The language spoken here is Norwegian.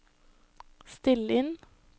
still inn